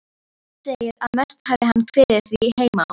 Sveinn segir, að mest hafi hann kviðið því heima á